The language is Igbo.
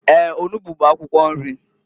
Eeǃ Onugbu bụ akwụkwọ nri.